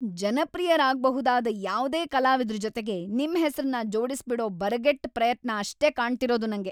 ಜನಪ್ರಿಯರಾಗ್ಬ‌ಹುದಾದ ಯಾವ್ದೇ ಕಲಾವಿದ್ರ್‌ ಜೊತೆಗೆ ನಿಮ್ ಹೆಸ್ರನ್ನ ಜೋಡಿಸ್ಬಿಡೋ ಬರಗೆಟ್ಟ ಪ್ರಯತ್ನ ಅಷ್ಟೇ ಕಾಣ್ತಿರೋದು ನಂಗೆ.